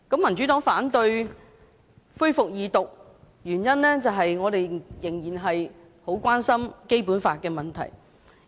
民主黨反對恢復二讀，原因是我們仍然很關心有關《基本法》的問題。